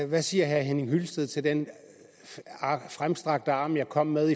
hvad siger herre henning hyllested til den fremstrakte hånd jeg kom med